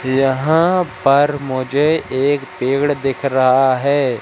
यहां पर मुझे एक पेड़ दिख रहा है।